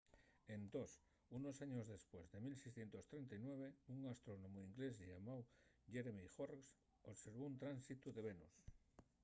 entós unos años depués en 1639 un astrónomu inglés llamáu jeremiah horrocks observó un tránsitu de venus